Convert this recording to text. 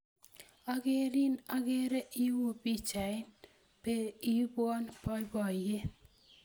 Akerin akere iu pichayat be ipwon poipoyet.